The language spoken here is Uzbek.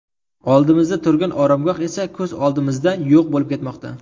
Oldimizda turgan oromgoh esa ko‘z o‘ngimizda yo‘q bo‘lib ketmoqda.